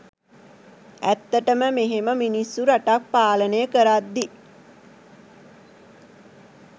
ඇත්තටම මෙහෙම මිනිස්සු රටක් පාලනය කරද්දි